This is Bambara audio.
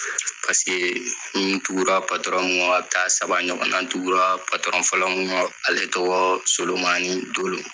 n kun tugura mun kɔ a be taa saba ɲɔgɔn na. N tuguraa fɔlɔ mun kɔ ale tɔgɔɔ Solomani Dolo.